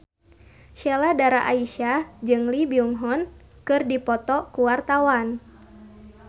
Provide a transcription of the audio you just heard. Sheila Dara Aisha jeung Lee Byung Hun keur dipoto ku wartawan